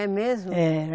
É mesmo? Era